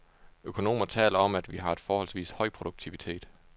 Økonomer taler om, at vi har en forholdsvis høj produktivitet.